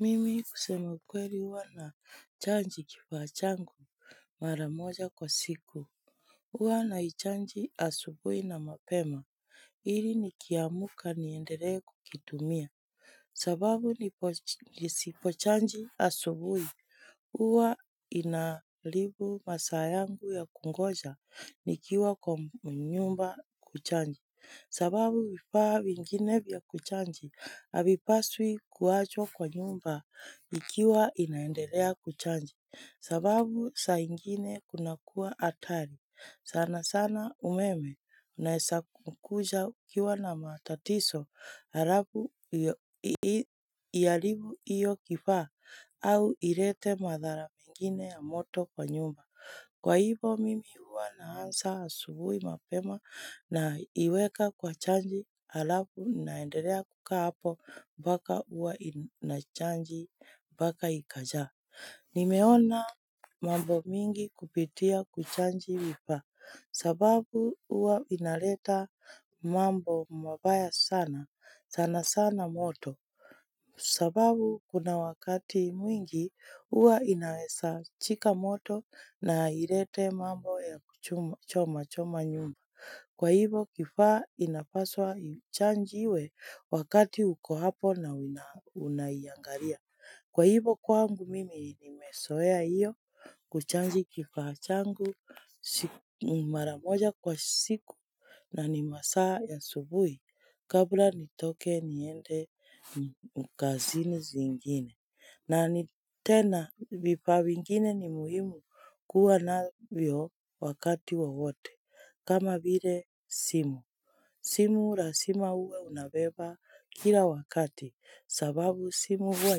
Mimi kusemaukweli huwa na chanji kifachangu maramoja kwa siku Uwa na chanji asubui na mapema ili nikiamuka ni endere kukitumia sababu nisipo chanji asubui uwa inalibu masayangu ya kungoja nikiwa kwa mnyumba kuchanji sababu vipaa mingine vya kuchanji habipaswi kuwachwa kwa nyumba ikiwa inaendelea kuchanji sababu saingine kuna kuwa hatari sana sana umeme Unaesa kukuja ukiwa na matatiso harabu Hhalivu iyo kifaa au irete madhara mingine ya moto kwa nyumba Kwa hivo mimi uwa naansa subuhi mapema na iweka kwa chanji alafu naendelea kuka hapo baka uwa inachanji baka ikaja. Nimeona mambo mingi kupitia kuchanji wipa sababu uwa inaleta mambo mwabaya sana sana sana moto. Sababu kuna wakati mwingi uwa inaweza chika moto na hirete mambo ya choma choma nyumba Kwa hivo kifaa inafaswa chanji iwe wakati uko hapo na Unayangaria Kwa hivo kwangu mimi nimesoea iyo kuchanji kifaa changu maramoja kwa siku na ni masaa ya subui kabla nitoke niende mkazini zingine na ni tena vipa mingine ni muhimu kuwa na vyo wakati wa wote kama vile simu, simu lazima uwe unabeba kila wakati sababu simu huwa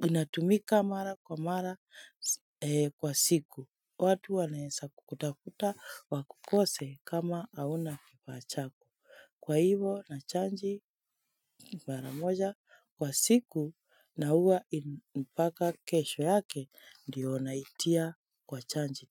inatumika mara kwa mara kwa siku watu wanaesa kukutakuta wakukose kama hauna kipa chako. Kwa hivo na chanji mara moja kwa siku na huwa inipaka kesho yake ndiyo naitia kwa chanji.